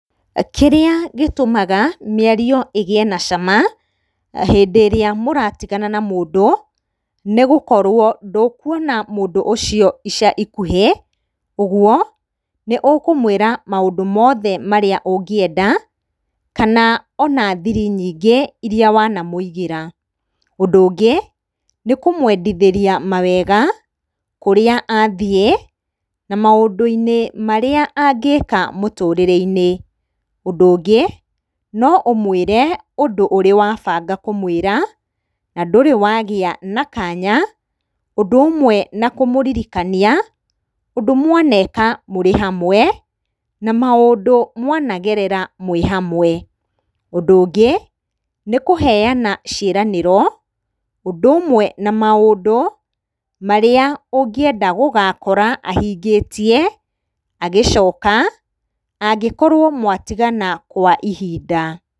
Kĩrĩa gĩtũmaga mĩario ĩgĩe na cama hĩndĩ ĩrĩa mũratigana na mũndũ, nĩgũkorwo ndũkuona mũndũ ũcio ica ikũhĩ, ũguo nĩũkũmwĩra maũndũ mothe marĩa ũngĩenda, kana ona thiri nyingĩ iria wanamũigĩra. Ũndũ ũngĩ nĩ kũmwendithĩria mawega kũrĩa athiĩ na maũndũ-inĩ marĩa angĩka mũtũrĩre-inĩ. Ũndũ ũngĩ no ũmũĩre ũndũ ũrĩ wabanga kũmwĩra na ndũrĩ wagĩa na kanya, ũndũ ũmwe na kũmũririkania ũndũ mwaneka mwĩ hamwe na maũndũ mwanagerera mwĩ hamwe. Ũndũ ũngĩ nĩ kũheyana ciĩranĩro ũndũ ũmwe na maũndu marĩa ũngĩenda gũgakora ahingĩtie agĩcoka angĩkorwo mwatigana kwa ihinda.